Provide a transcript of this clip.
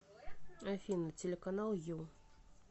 афина телеканал ю